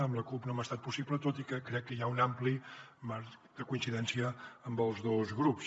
amb la cup no m’ha estat possible tot i que crec que hi ha un ampli marge de coincidència amb els dos grups